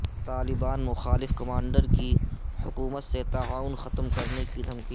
طالبان مخالف کمانڈر کی حکومت سے تعاون ختم کرنے کی دھمکی